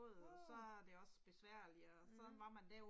Mh. Mh